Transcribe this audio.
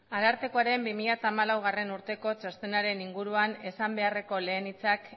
arartekoren bi mila hamalaugarrena urteko txostenaren inguruan esan beharreko lehen hitzak